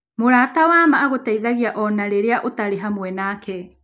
Mũrata wa ma agũteithagia o na rĩrĩa ũtarĩ hamwe nake.